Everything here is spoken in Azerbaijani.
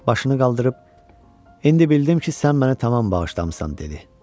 Başını qaldırıb, indi bildim ki, sən məni tamam bağışlamısan dedi.